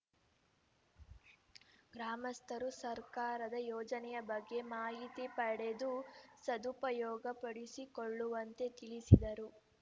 ಗ್ರಾಮಸ್ಥರು ಸರ್ಕಾರದ ಯೋಜನೆಯ ಬಗ್ಗೆ ಮಾಹಿತಿ ಪಡೆದು ಸದುಪಯೋಗ ಪಡಿಸಿಕೊಳ್ಳುವಂತೆ ತಿಳಿಸಿದರು